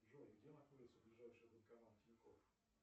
джой где находится ближайший банкомат тинькофф